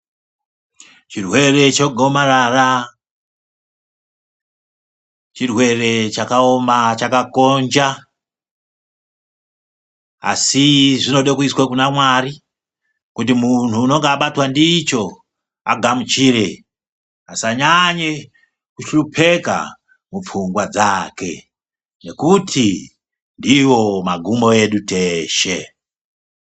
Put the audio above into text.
Chirwere chegomarara chirwere chakaoma chakakonja, asi zvinode kuyiswa kunaMwari, kuti munhu anenge abatwa ndicho, agamuchire asanyanye kuhlupeka mupfungwa dzake, nokuti ndiwo magumo edu teshe.